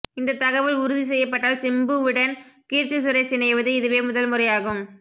இந்த தகவல் உறுதி செய்யப்பட்டால் சிம்புவிடன் கீர்த்திசுரேஷ் இணைவது இதுவே முதல் முறையாகும்